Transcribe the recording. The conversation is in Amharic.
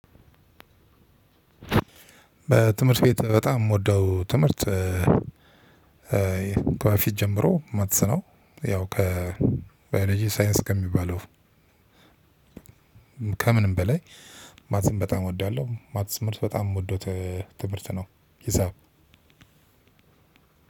በትምህርት ቤት በጣም የምወደው ትምህርት። ከበፊት ጀምሮ ማትስ ነው ያው ከባዮሎጂ ሳይንስ ከሚባለው ከምንም በላይ ማትስን በጣም እወዳለሁ። ማትስ ትምህርት በጣም የምወደው ትምህርት ነው ሂሳብ።